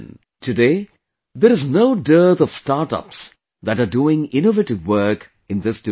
Today there is no dearth of startups that are doing innovative work in this direction